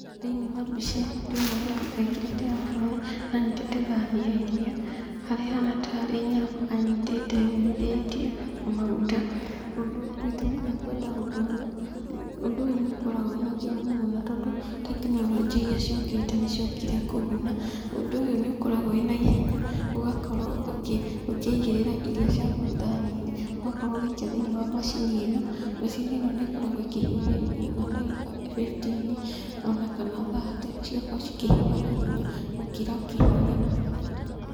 Thĩiniĩ wa mbica ĩno ndĩrona mũndũ ekĩrĩte aburoni na anyitĩte thani ya irio, harĩa ĩhana tarĩ nyama anyitĩte yũmithĩtio na maguta, ũndũ gĩtũmi gĩa kwenda ũndũ ũyũ, ũndũ ũyũ nĩ ũkoragwo wĩna kĩguni mũno tondũ tekinoronjĩ iria ciũkĩte nĩ ciokire kũguna, ũndũ ũyũ nĩ ũkoragwo wĩ na ihenya, ũgakorwo ũkĩ ũkĩigĩrĩra irio ciaku thani-inĩ, ũgakorwo ũgĩikia thĩiniĩ wa macini ĩno, macini ĩno nĩ ĩkoragwo ĩkĩhiũhia irio na ndagĩka fifteen ona kana thirty, cigakorwo cikĩhiũha haihenya, gũkĩra ũkĩhiũhia na thaburia.